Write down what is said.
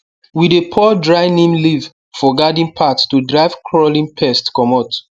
we dey pour dry neem leaf for garden path to drive crawling pest comot